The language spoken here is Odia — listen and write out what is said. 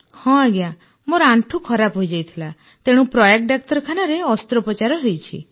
ହଁ ମୋର ଆଣ୍ଠୁ ଖରାପ ହୋଇଯାଇଥିଲା ତେଣୁ ପ୍ରୟାଗ ଡାକ୍ତରଖାନାରେ ଅସ୍ତ୍ରୋପଚାର ହୋଇଛି